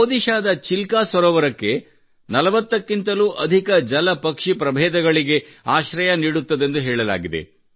ಒಡಿಶಾದ ಚಿಲ್ಕಾ ಸರೋವರಕ್ಕೆ 40 ಕ್ಕಿಂತಲೂ ಅಧಿಕ ಜಲ ಪಕ್ಷಿ ಪ್ರಭೇದಗಳಿಗೆ ಆಶ್ರಯ ನೀಡುತ್ತದೆಂದು ಹೇಳಲಾಗುತ್ತದೆ